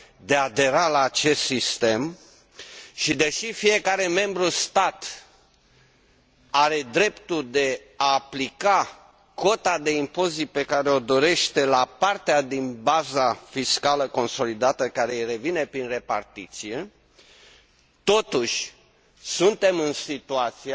de a adera la acest sistem și deși fiecare stat membru are dreptul de a aplica cota de impozit pe care o dorește la partea din baza fiscală consolidată care îi revine prin repartiție, totuși suntem în situația